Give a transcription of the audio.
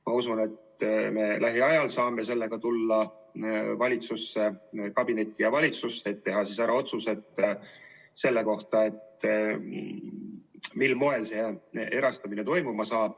Ma usun, et me lähiajal saame sellega tulla valitsuskabinetti ja valitsusse, et teha ära otsused selle kohta, mil moel erastamine toimub.